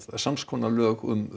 sams konar lög um